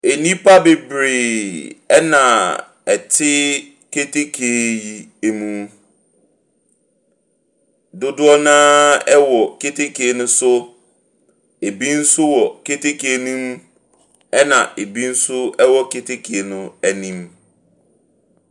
Nnipa bebree ɛna ɛte keteke mu. Dodoɔ no ara wɔ keteke no so. Ebi nso wɔ kete no mu. Ɛna ebi nso wɔ keteke no anim.